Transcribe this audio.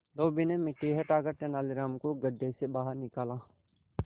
धोबी ने मिट्टी हटाकर तेनालीराम को गड्ढे से बाहर निकाला